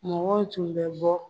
Mɔgɔ tun bɛ bɔ